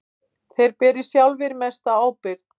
Þeir beri sjálfir mesta ábyrgð.